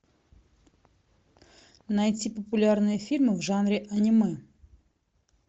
найти популярные фильмы в жанре аниме